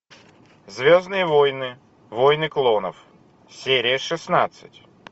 звездные войны войны клонов серия шестнадцать